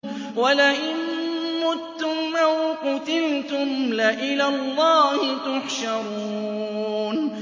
وَلَئِن مُّتُّمْ أَوْ قُتِلْتُمْ لَإِلَى اللَّهِ تُحْشَرُونَ